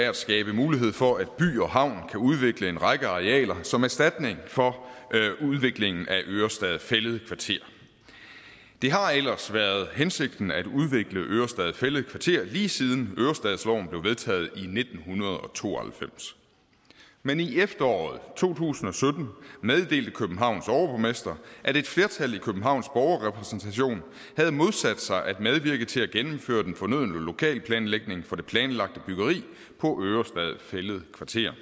er at skabe mulighed for at by og havn kan udvikle en række arealer som erstatning for udviklingen af ørestad fælled kvarter det har ellers været hensigten at udvikle ørestad fælled kvarter lige siden ørestadsloven blev vedtaget i nitten to og halvfems men i efteråret to tusind og sytten meddelte københavns overborgmester at et flertal i københavns borgerrepræsentation havde modsat sig at medvirke til at gennemføre den fornødne lokalplanlægning for det planlagte byggeri på ørestad fælled kvarter